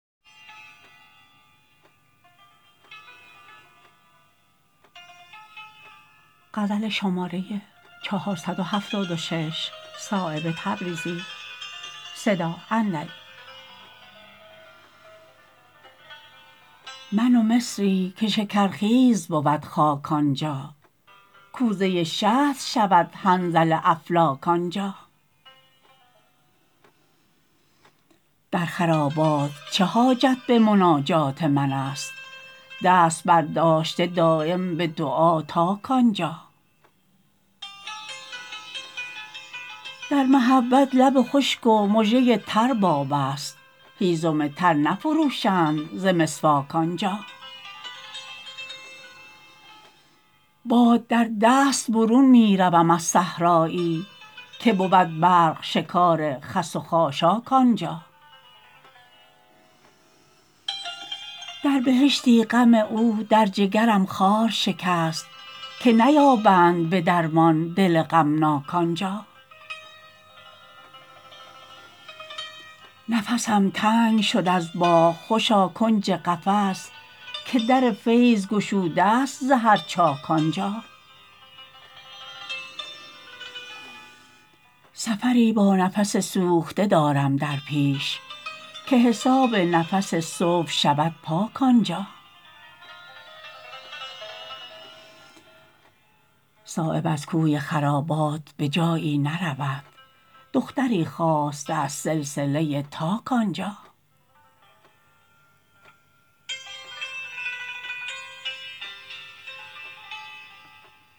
من و مصری که شکرخیز بود خاک آنجا کوزه شهد شود حنظل افلاک آنجا در خرابات چه حاجت به مناجات من است دست برداشته دایم به دعا تاک آنجا در محبت لب خشک و مژه تر باب است هیزم تر نفروشند ز مسواک آنجا باد در دست برون می روم از صحرایی که بود برق شکار خس و خاشاک آنجا در بهشتی غم او در جگرم خار شکست که نیابند به درمان دل غمناک آنجا نفسم تنگ شد از باغ خوشا کنج قفس که در فیض گشوده است ز هر چاک آنجا سفری با نفس سوخته دارم در پیش که حساب نفس صبح شود پاک آنجا صایب از کوی خرابات به جایی نرود دختری خواسته از سلسله تاک آنجا